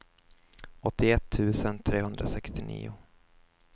åttioett tusen trehundrasextionio